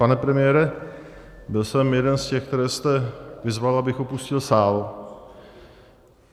Pane premiére, byl jsem jeden z těch, které jste vyzval, abych opustil sál.